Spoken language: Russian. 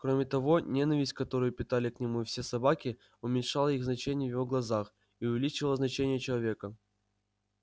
кроме того ненависть которую питали к нему все собаки уменьшала их значение в его глазах и увеличивала значение человека